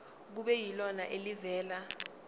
kube yilona elivela